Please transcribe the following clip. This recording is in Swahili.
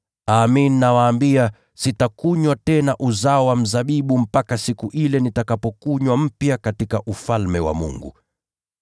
Amin, nawaambia, sitakunywa tena katika uzao wa mzabibu, hadi siku ile nitakapounywa mpya katika Ufalme wa Mungu.”